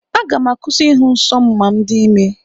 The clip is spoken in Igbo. Aga m akwụsị ịhụ nsọ m ma m dị ime.